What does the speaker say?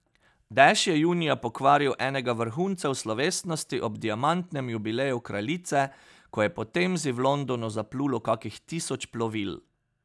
Dež je junija pokvaril enega vrhuncev slovesnosti ob diamantnem jubileju kraljice, ko je po Temzi v Londonu zaplulo kakih tisoč plovil.